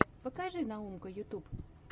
покажи наумка ютуб